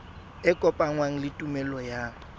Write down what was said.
e kopanngwang le tuelo ya